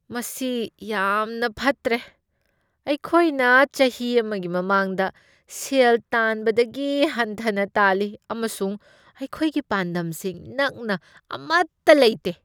ꯃꯁꯤ ꯌꯥꯝꯅ ꯐꯠꯇ꯭ꯔꯦ! ꯑꯩꯈꯣꯏꯅ ꯆꯍꯤ ꯑꯃꯒꯤ ꯃꯃꯥꯡꯗ ꯁꯦꯜ ꯇꯥꯟꯕꯗꯒꯤ ꯍꯟꯊꯅ ꯇꯥꯜꯂꯤ, ꯑꯃꯁꯨꯡ ꯑꯩꯈꯣꯏꯒꯤ ꯄꯥꯟꯗꯝꯁꯤꯡ ꯅꯛꯅ ꯑꯃꯠꯇ ꯂꯩꯇꯦ꯫